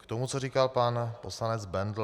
K tomu, co říkal pan poslanec Bendl.